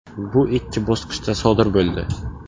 Bu ikki bosqichda sodir bo‘ldi.